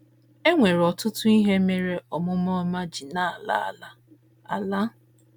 E nwere ọtụtụ ihe mere omume ọma ji na - ala ala. ala.